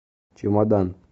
чемодан